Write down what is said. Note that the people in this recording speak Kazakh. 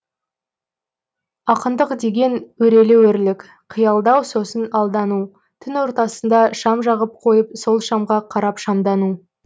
ақындық деген өрелі өрлік қиялдау сосын алдану түн ортасында шам жағып қойып сол шамға қарап шамдану